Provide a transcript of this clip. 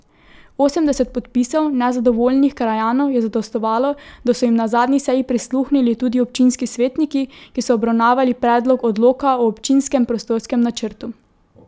Osemdeset podpisov nezadovoljnih krajanov je zadostovalo, da so jim na zadnji seji prisluhnili tudi občinski svetniki, ki so obravnavali predlog odloka o občinskem prostorskem načrtu.